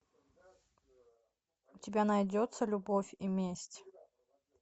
у тебя найдется любовь и месть